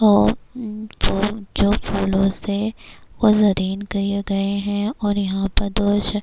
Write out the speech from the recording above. اور جو فولو سے جرین کے گئے ہے اور یہا پر دوش--